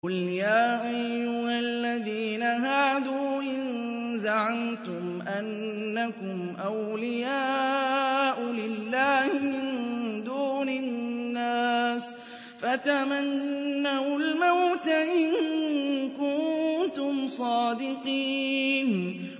قُلْ يَا أَيُّهَا الَّذِينَ هَادُوا إِن زَعَمْتُمْ أَنَّكُمْ أَوْلِيَاءُ لِلَّهِ مِن دُونِ النَّاسِ فَتَمَنَّوُا الْمَوْتَ إِن كُنتُمْ صَادِقِينَ